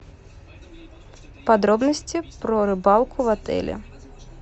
подробности про рыбалку в отеле